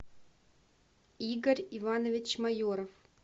игорь иванович майоров